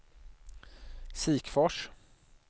Sikfors